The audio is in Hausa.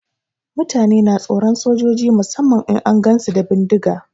Mutane na tsoron sojoji musamman idan an gansu da bindiga.